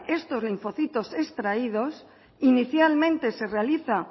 estos linfocitos extraídos inicialmente se realiza